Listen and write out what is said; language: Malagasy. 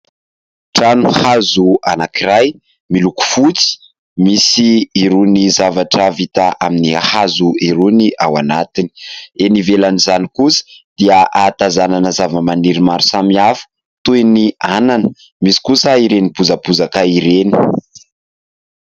Trano hazo anankiray miloko fotsy, misy irony zavatra vita amin'ny hazo irony ao anatiny. Eny ivelan'izany kosa dia hahatazanana zava-maniry maro samihafa toy ny anana, misy kosa ireny bozabozaka ireny.